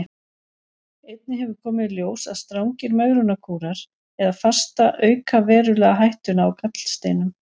Einnig hefur komið í ljós að strangir megrunarkúrar eða fasta auka verulega hættuna á gallsteinum.